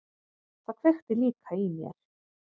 Það kveikti líka í mér.